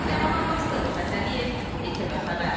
Ləman Abbasova, Rüfət Əliyev, ATV Xəbər.